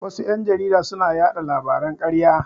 Wasu ƴan jarida suna yaɗa labaran ƙarya.